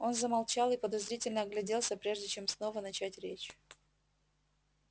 он замолчал и подозрительно огляделся прежде чем снова начать речь